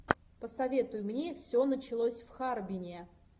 посоветуй мне все началось в харбине